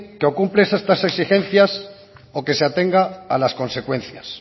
que o cumple esas exigencias o que se atenga a las consecuencias